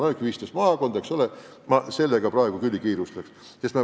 Praegu on 15 maakonda ja ma edasisega küll ei kiirustaks.